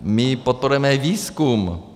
A podporujeme i výzkum.